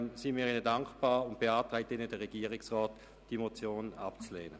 Deshalb beantragt Ihnen der Regierungsrat, diese Motion abzulehnen.